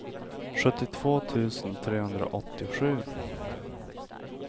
sjuttiotvå tusen trehundraåttiosju